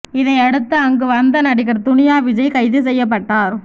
இதையடுத்து அங்கு வந்த நடிகர் துனியா விஜய் கைது செய்யப்பட்டார்